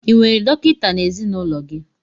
Ị nwere dọkịta n'ezinụlọ gị?